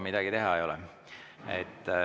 Midagi teha ei ole.